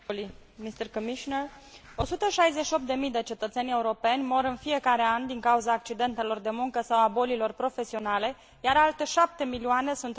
168 de mii de cetățeni europeni mor în fiecare an din cauza accidentelor de muncă sau a bolilor profesionale, iar alte 7 milioane sunt răniți în accidentele de muncă.